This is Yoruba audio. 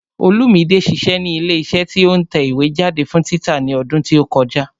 Olúmide ṣiṣẹ́ ní ilé iṣẹ́ tí ó ń tẹ ìwé jáde fún títa ní ọdún tí ó kọjá